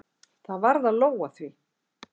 Það varð að lóga því.